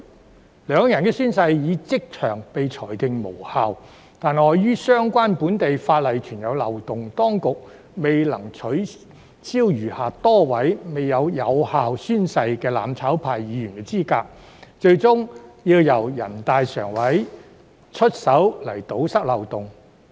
雖然兩人的宣誓已即場被裁定無效，但礙於相關本地法例存在漏洞，當局未能取消餘下多位未作出有效宣誓的"攬炒派"議員的資格，最終要由人大常委會出手堵塞漏洞。